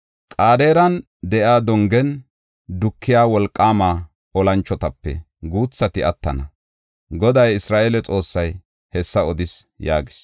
Qedaaren de7iya dongen dukiya wolqaama olanchotape guuthati attana; Goday Isra7eele Xoossay hessa odis” yaagis.